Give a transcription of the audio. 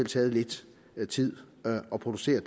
taget lidt tid at producere